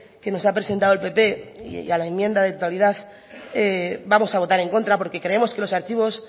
que nos ha presentado el pp y a la enmienda de totalidad vamos a votar en contra porque creemos que los archivos